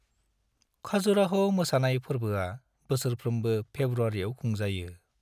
खाजुराह' मोसानाय फोर्बोआ बोसोरफ्रोमबो फेब्रुआरिआव खुंजायो।